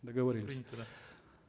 договорились принято да